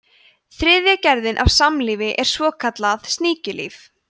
þriðja gerðin af samlífi er svokallað sníkjulíf